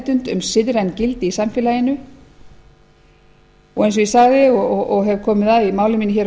og meðvitund um siðræn gildi í samfélaginu eins og ég sagði og hef komið að í máli mínu hér á